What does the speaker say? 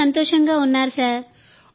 చాలా చాలా సంతోషంగా ఉన్నారు సార్